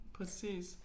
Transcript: Præcis